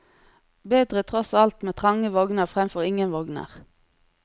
Bedre tross alt med trange vogner fremfor ingen vogner.